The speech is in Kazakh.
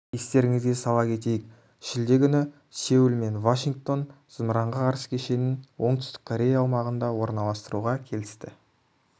естеріңізге сала кетейік шілде күні сеул мен вашингтон зымыранға қарсы кешенін оңтүстік корея аумағында орналастыруға келісті